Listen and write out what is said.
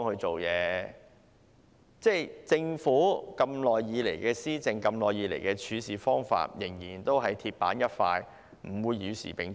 政府多年來的施政和處事方法仍是鐵板一塊，不會與時並進。